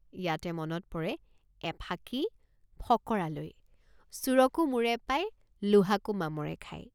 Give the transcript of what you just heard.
ইয়াতে মনত পৰে এফাকি ফকৰালৈ চোৰকো মোৰে পায় লোহাকো মামৰে খায়।